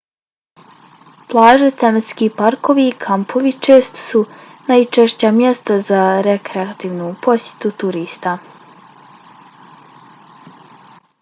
plaže tematski parkovi i kampovi često su najčešća mjesta za rekreativnu posjetu turista